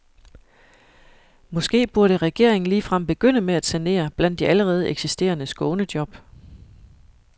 Måske burde regeringen ligefrem begynde med at sanere blandt de allerede eksisterende skånejob.